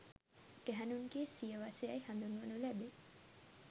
ගැහැණුන්ගේ සිය වස යැයි හඳුන්වනු ලැබේ